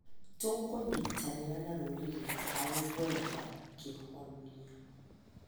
Tũkũnyitanĩra na rũrĩrĩ harĩ gwetha kĩhonia.